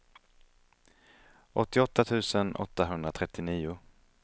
åttioåtta tusen åttahundratrettionio